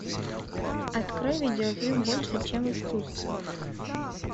открой видеофильм больше чем искусство